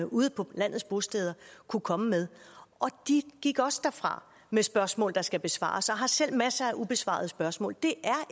ude på landets bosteder kunne komme med de gik også derfra med spørgsmål der skal besvares og har selv masser af ubesvarede spørgsmål det